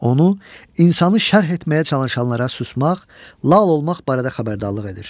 Onu insanı şərh etməyə çalışanlara susmaq, lal olmaq barədə xəbərdarlıq edir.